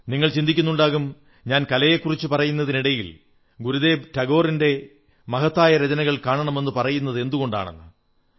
നിങ്ങൾ ചിന്തിക്കുന്നുണ്ടാകും ഞാൻ കലയെക്കുറിച്ചു പറയുന്നതിനിടയിൽ ഗുരുദേവ് ടാഗോറിന്റെ മഹത്തായ രചനകൾ കാണമെന്നു പറയുന്നതെന്തുകൊണ്ടെന്ന്